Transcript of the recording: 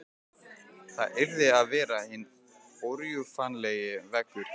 Það yrði að vera hinn órjúfanlegi veggur.